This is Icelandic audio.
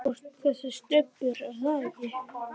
Þú ert þessi Stubbur, er það ekki?